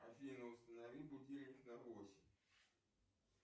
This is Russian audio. афина установи будильник на восемь